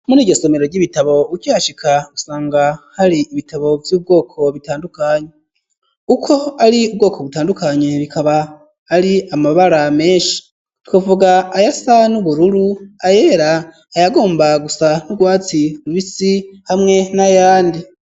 Muri iryo somero ry'ibitabo, ukihashika gusanga hari ibitabo vy'ubwoko bitandukanye, uko ari ubwoko butandukanye ,bikaba ari amabara menshi ,nukuvuga ayasa n'ubururu, ayera, ayagomba gusa n'ubwatsi rubisi, hamwe n'ayandi.